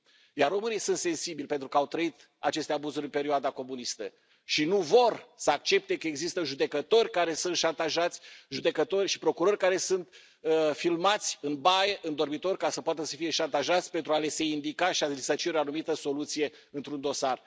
Iar românii sunt sensibili pentru că au trăit aceste abuzuri în perioada comunistă și nu vor să accepte că există judecători care sunt șantajați, judecători și procurori care sunt în filmați în baie, în dormitor ca să poată să fie șantajați pentru a li se indica și a li se cere o anumită soluție într un dosar.